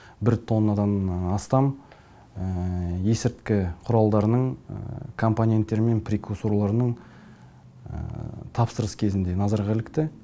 тоннандан астам есірткі құралдарының компоненттері мен прикусорларының тапсырыс кезінде назарға ілікті